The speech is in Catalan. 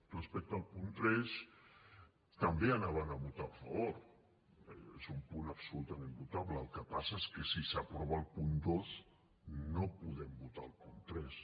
respecte al punt tres també hi volíem votar a favor és un punt absolutament votable el que passa és que si s’aprova el punt dos no podem votar el punt tres